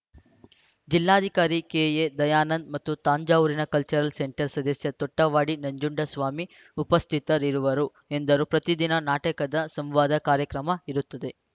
ಜಿಲ್ಲಾಧಿಕಾರಿ ಕೆಎದಯಾನಂದ್‌ ಮತ್ತು ತಂಜಾವೂರಿನ cultural centre ಸದಸ್ಯ ತೊಟ್ಟವಾಡಿ ನಂಜುಂಡಸ್ವಾಮಿ ಉಪಸ್ಥಿತರಿರುವರು ಎಂದರು ಪ್ರತಿದಿನ ನಾಟಕದ ಸಂವಾದ ಕಾರ್ಯಕ್ರಮ ಇರುತ್ತದೆ